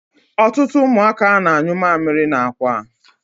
Ọtụtụ ụmụaka na-anyụ mamịrị n'akwa.